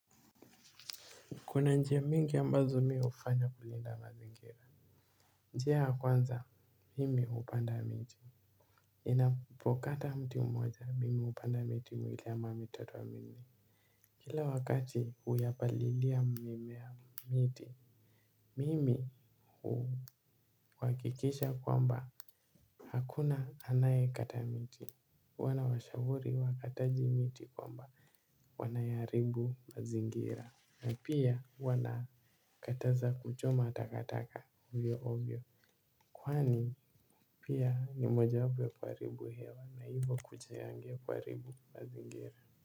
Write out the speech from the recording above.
Kuna njia mingi ambazo mi hufanya kulinda mazingira. Njia ya kwanza mimi hupanda miti ninapokata mti mmoja mimi hupanda miti miwili ama mitatu ama minne. Kila wakati huyapalilia mimea miti. Mimi huhakikisha kwamba hakuna anaye kata miti huwa nawashauri wakataji miti kwamba wanayaharibu mazingira. Na pia huwa kataza kuchoma takataka ovyo ovyo. Kwani pia ni moja wapo ya kuharibu hewa na hivyo kuchayangia kuharibu mazingira.